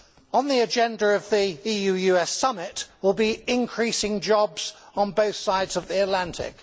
On the agenda of the EU US summit will be increasing jobs on both sides of the Atlantic.